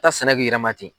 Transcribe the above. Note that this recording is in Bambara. taa sɛnɛ k'i yɛrɛ ma ten